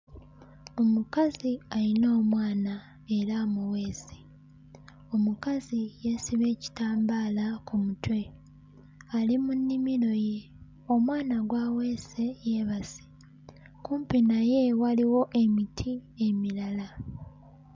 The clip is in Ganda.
Omukazi ayina omwana era amuweese omukazi yeesibye ekitambaala ku mutwe ali mu nnimiro ye omwana gw'aweese yeebase kumpi naye waliwo emiti emirala.